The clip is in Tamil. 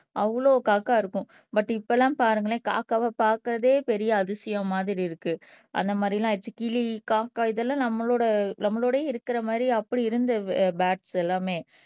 அவ்வளவு காக்கா இருக்கும் பட் இப்பெல்லாம் பாருங்களேன், காக்காவை பார்க்கிறதே பெரிய அதிசயம் மாதிரி இருக்கு அந்த மாதிரி எல்லாம் ஆயிடுச்சி கிளி காக்கா இதெல்லாம் நம்மளோட நம்மளோடே இருக்கிற மாதிரி அப்படி இருந்த போர்ட்ஸ் எல்லாமே